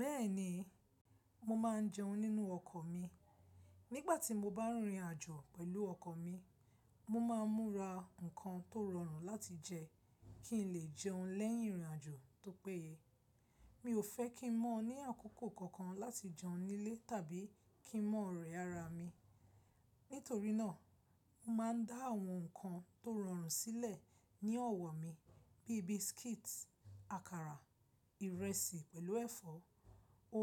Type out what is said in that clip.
Bẹ́ẹ̀ni, mo máa ń jẹun nínú ọkọ̀ mi. Nígbà tí mo bá ń rin ìrìn-àjò pẹ̀lú ọkọ̀ mi, mo máa ń múra nǹkan tó rọrùn láti jẹ kí n lè jẹun lẹ́yìn ìrìn-àjò. Tó pé, mi ò fẹ́ kí n mọ́ ọ ní àkókò kankan láti jẹun nílé tàbí kí n mọ́ rẹ̀ ara mi. Nítorí náà, mo máa ń dá àwọn nǹkan tó rọrùn sílẹ̀ ní ọ̀wọ̀ mi bí i biscuits, àkàrà, ìrẹsì pẹ̀lú ẹ̀fọ́,